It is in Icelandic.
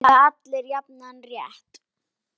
Eiga allir jafnan rétt?